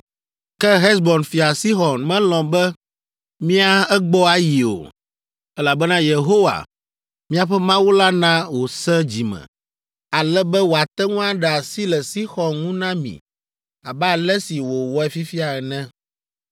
Ke Hesbon fia Sixɔn melɔ̃ be mía egbɔ ayi o, elabena Yehowa, miaƒe Mawu la na wòsẽ dzi me, ale be wòate ŋu aɖe asi le Sixɔn ŋu na mi abe ale si wòwɔe fifia ene.